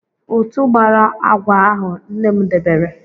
Ụtụ̀ gbara agwa ahụ nne m debere.